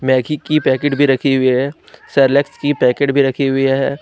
Maggi की packet भी रखी हुई है सैरेलेक्स की पैकेट भी रखी हुई है।